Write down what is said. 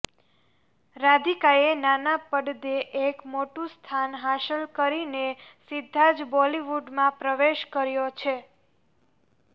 રાધિકાએ નાના પડદે એક મોટું સ્થાન હાંસલ કરીને સીધા જ બોલિવૂડમાં પ્રવેશ કર્યો છે